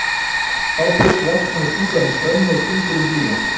Þá fyrst vefst manni tunga um tönn og fingur um blýant.